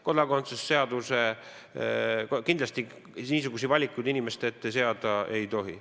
Kodakondsuse seadusega niisuguseid valikuid inimeste ette kindlasti seada ei tohi.